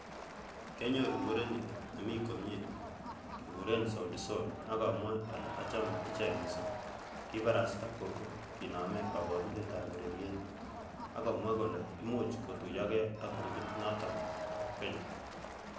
"Kianyoru mureni nemi komie kekuren Soutisol ak amwoe ale achame ichek missing,"Kibarasta Coco kinome koborunetab ureriet ak komwa kole imuch kotuyoge ak grupit noton bo Kenya.